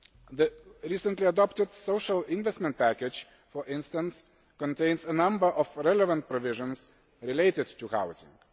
The recently adopted Social Investment Package, for instance, contains a number of relevant provisions related to housing.